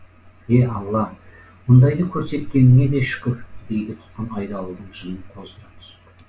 е алла мұндайды көрсеткеніңе де шүкір дейді тұтқын айдауылдың жынын қоздыра түсіп